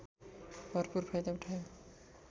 भरपुर फाइदा उठायो